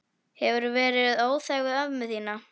Hefurðu verið óþæg við ömmu þína?